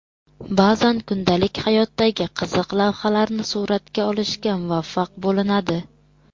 Ba’zan kundalik hayotdagi qiziq lahzalarni suratga olishga muvaffaq bo‘linadi.